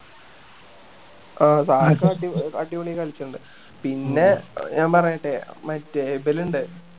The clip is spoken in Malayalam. ആഹ് ധാക്ക അടിപൊളി അടിപൊളി ആയി കളിച്ചിട്ടിണ്ട് പിന്നെ ഞാൻ പറയട്ടെ മറ്റേ എബിലിണ്ട്‌